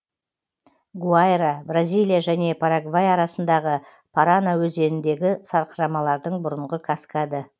гуайра бразилия және парагвай арасындағы парана өзеніндегі сарқырамалардың бұрынғы каскады